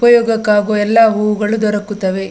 ಉಪಯೋಗಕ್ಕೆ ಆಗುವ ಎಲ್ಲಾ ಹೂಗಳು ದೊರಕುತ್ತವೆ .